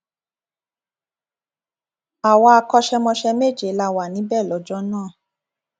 àwa akọṣẹmọṣẹ méje la wà níbẹ lọjọ náà